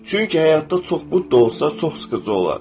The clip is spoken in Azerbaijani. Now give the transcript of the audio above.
Çünki həyatda çox Budda olsa, çox sıxıcı olar.